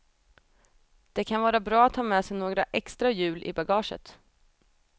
Det kan vara bra att ha med sig några extra hjul i bagaget.